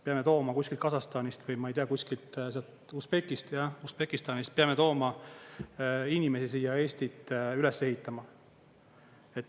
Peame tooma kuskilt Kasahstanist või ma ei tea, kuskilt Usbekistanist peame tooma inimesi siia Eestit üles ehitama.